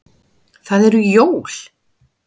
Það eru jól.